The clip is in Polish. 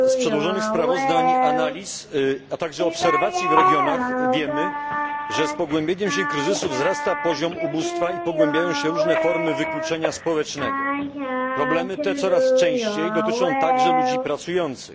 Pani Przewodnicząca! Z przedłożonych sprawozdań, analiz, a także obserwacji w regionach wiemy, że z pogłębianiem się kryzysu wzrasta poziom ubóstwa i pogłębiają się różne formy wykluczenia społecznego. Problemy te coraz częściej dotyczą także ludzi pracujących.